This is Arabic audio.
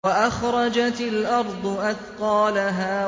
وَأَخْرَجَتِ الْأَرْضُ أَثْقَالَهَا